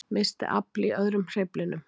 Missti afl í öðrum hreyflinum